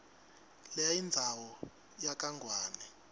lenayindzawo yakangwane